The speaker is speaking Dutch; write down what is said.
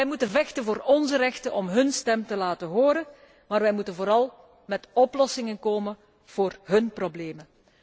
Wij moeten vechten voor onze rechten om hun stem te laten horen, maar wij moeten vooral met oplossingen komen voor hun problemen.